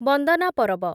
ବନ୍ଦନା ପରବ